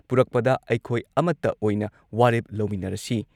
ꯄꯨꯔꯛꯄꯗ ꯑꯩꯈꯣꯏ ꯑꯃꯠꯇ ꯑꯣꯏꯅ ꯋꯥꯔꯦꯞ ꯂꯧꯃꯤꯟꯅꯔꯁꯤ